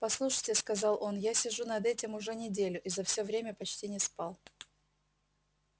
послушайте сказал он я сижу над этим уже неделю и за все время почти не спал